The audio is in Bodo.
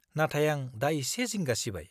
नाथाय आं दा इसे जिंगा सिबाय।